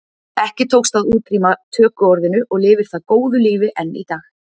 Ekki tókst að útrýma tökuorðinu og lifir það góðu lífi enn í dag.